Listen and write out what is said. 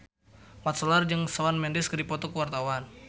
Mat Solar jeung Shawn Mendes keur dipoto ku wartawan